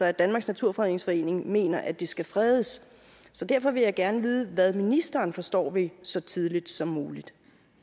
at danmarks naturfredningsforening mener at det skal fredes så derfor vil jeg gerne vide hvad ministeren forstår ved så tidligt som muligt